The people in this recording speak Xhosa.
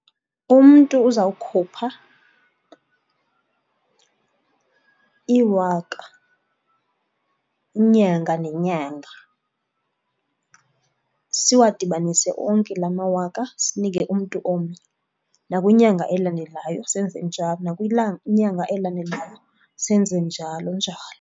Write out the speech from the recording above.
Umntu uzawukhupha iwaka inyanga nenyanga, siwadibanise onke la mawaka sinike umntu omnye. Nakwinyanga elandelayo senze njalo, nakwinyanga elandelayo senze njalo njalo.